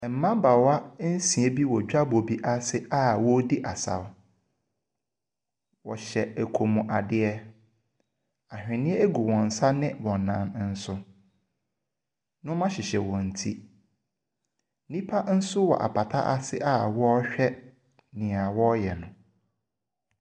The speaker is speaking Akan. Mmabaawa nsia bi wɔ dwa bɔ bi ase a wɔredi asaw. Ɔhyɛ komadeɛ, awheniɛ gu wɔnsa ne wɔnan so. Nnoɔma hyehyɛ wɔn ti, nipa nso wɔ apata ase a ɔrehwɛ nea ɔreyɛ no.